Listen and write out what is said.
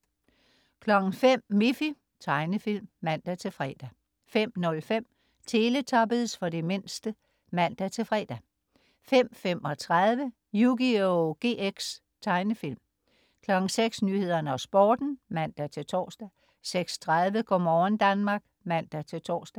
05.00 Miffy. Tegnefilm (man-fre) 05.05 Teletubbies. For den mindste (man-fre) 05.35 Yugioh GX. Tegnefilm 06.00 Nyhederne og Sporten (man-tors) 06.30 Go' morgen Danmark (man-tors)